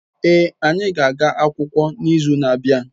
Ee, anyi ga-aga akwukwo n'izu na-abia